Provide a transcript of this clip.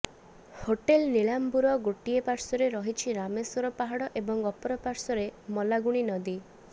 hotel Nilambur ଗୋଟିଏ ପାର୍ଶ୍ବରେ ରହିଛି ରାମେଶ୍ୱର ପାହାଡ଼ ଏବଂ ଅପର ପାର୍ଶ୍ବରେ ମଲାଗୁଣୀ ନଦୀ